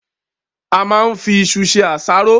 A máa n fí ìṣù ṣe àsáró